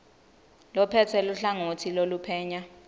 lophetse luhlangotsi loluphenya